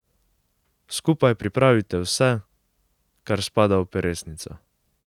Skupaj pripravite vse, kar spada v peresnico.